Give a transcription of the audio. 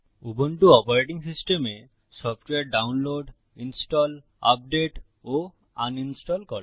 Ubuntu operating সিস্টেমে software download install update ও uninstall করা